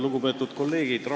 Lugupeetud kolleegid!